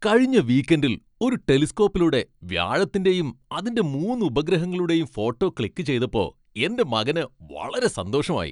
കഴിഞ്ഞ വീക്കെൻഡിൽ ഒരു ടെലിസ്കോപ്പിലൂടെ വ്യാഴത്തിന്റെയും അതിന്റെ മൂന്ന് ഉപഗ്രഹങ്ങളുടെയും ഫോട്ടോ ക്ലിക്കു ചെയ്തപ്പോ എന്റെ മകന് വളരെ സന്തോഷമായി .